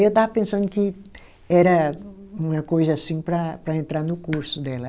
Aí eu estava pensando que era uma coisa assim para para entrar no curso dela.